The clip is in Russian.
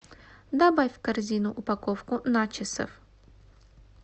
добавь в корзину упаковку начосов